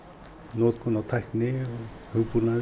notkun á tækni hugbúnaði